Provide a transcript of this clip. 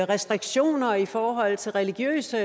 restriktioner i forhold til religiøse